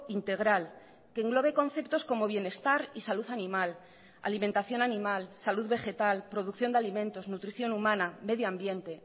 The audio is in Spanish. integral que englobe conceptos como bienestar y salud animal alimentación animal salud vegetal producción de alimentos nutrición humana medio ambiente